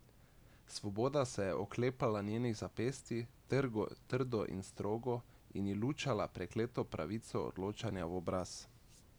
Svoboda se je oklepala njenih zapestij, trdo in strogo, in ji lučala prekleto pravico odločanja v obraz.